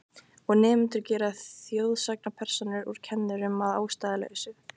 Og nemendur gera þjóðsagnapersónur úr kennurum að ástæðulausu.